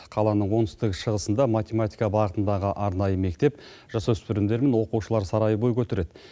қаланың оңтүстік шығысында математика бағытындағы арнайы мектеп жасөспірімдер мен оқушылар сарайы бой көтереді